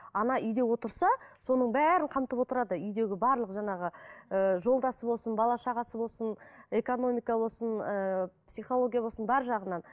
ана үйде отырса соның бәрін қамтып отырады үйдегі барлық жаңағы ыыы жолдасы болсын бала шағасы болсын экономика болсын ыыы психология болсын бар жағынан